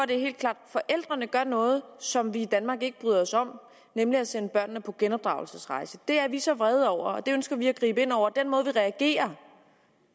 det er helt klart forældrene gør noget som vi i danmark ikke bryder os om nemlig at sende børnene på genopdragelsesrejse det er vi så vrede over og det ønsker vi at gribe ind over for og den måde vi reagerer